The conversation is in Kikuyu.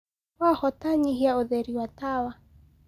wahota nyĩhĩaũtheri wa tawa